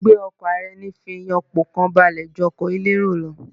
Gbígbé ọkọ̀ ara eni fì yàn pọ̀ kàn balẹ̀ ju ọkọ̀ elérò lọ